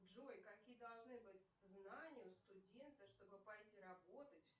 джой какие должны быть знания у студента что бы пойти работать